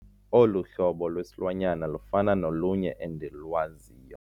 Olu hlobo lwesilwanyana lufana nolunye endilwaziyo.